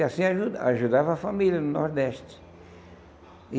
E assim aju ajudava a família no Nordeste.